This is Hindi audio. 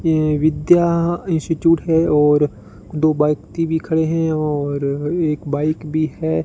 ये विद्या इंस्टिट्यूट है और दो व्यक्ति भी खड़े हैं और एक बाइक भी है।